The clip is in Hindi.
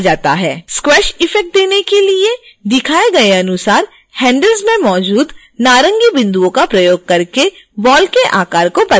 स्क्वैश इफ़ेक्ट देने के लिए दिखाए गए अनुसार handles में मौजूद नारंगी बिंदुओं का प्रयोग करके बॉल के आकार को बदलें